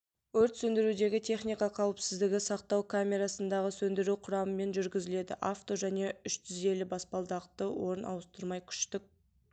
өрт сөндірудегі техника қауіпсіздігі сақтау камерасындағы сөндіру құрамымен жүргізіледі авто және үштізелі баспалдақты орын ауыстырмай күштік